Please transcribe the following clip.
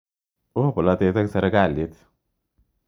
Oo polotet eng' sirikalit.